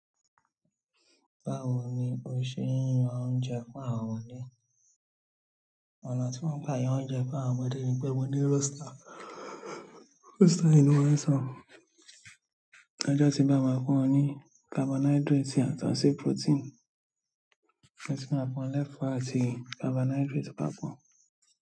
Báwo ni o ṣé ń ra oúnjẹ fún àwọn ọmọdé? Ọ̀nà tí mò ń gbà yan oúnjẹ fún àwọn ọmọdé ni pé mo ní roster, roster yen ló máa n so ojó tí n bá ma fún won ní carbohydrate yàtọ̀ sí protein. Mo tún ma fún won ní ẹ̀fọ́ àti carbohydrate papò.